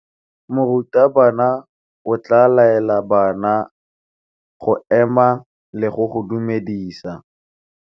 Morutabana o tla laela bana go ema le go go dumedisa.